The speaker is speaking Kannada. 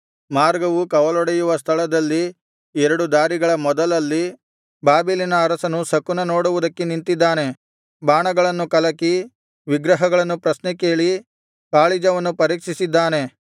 ಮಾರ್ಗವು ಕವಲೊಡೆಯುವ ಸ್ಥಳದಲ್ಲಿ ಎರಡು ದಾರಿಗಳ ಮೊದಲಲ್ಲಿ ಬಾಬೆಲಿನ ಅರಸನು ಶಕುನ ನೋಡುವುದಕ್ಕೆ ನಿಂತಿದ್ದಾನೆ ಬಾಣಗಳನ್ನು ಕಲಕಿ ವಿಗ್ರಹಗಳನ್ನು ಪ್ರಶ್ನೆಕೇಳಿ ಕಾಳಿಜವನ್ನು ಪರೀಕ್ಷಿಸಿದ್ದಾನೆ